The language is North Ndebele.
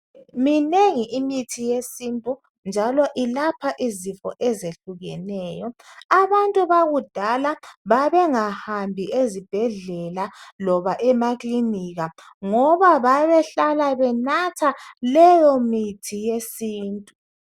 minengi imithi eyesintu njalo ilapha izifo ezehlukeneyo abantu bakudala babengahambi ezibhedlela loba amkilinika ngoba babehlala benatha leyo mithi yesintu